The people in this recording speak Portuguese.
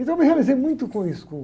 Então eu me realizei muito com isso, com